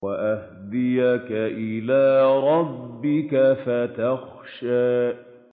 وَأَهْدِيَكَ إِلَىٰ رَبِّكَ فَتَخْشَىٰ